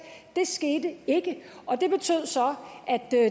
det skete ikke og det betød så at